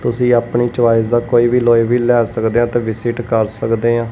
ਤੁਸੀਂ ਆਪਣੀ ਚੋਇਸ ਦਾ ਕੋਈ ਵੀ ਅਲੋਏ ਵੀਲ ਲੈ ਸਕਦੇ ਆ ਤੇ ਵਿਜਿਟ ਕਰ ਸਕਦੇ ਆ।